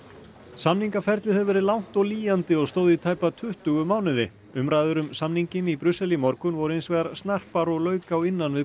samningaferlið hefur verið langt og lýjandi og stóð í tæpa tuttugu mánuði umræður um samninginn í Brussel í morgun voru hins vegar snarpar og lauk á innan við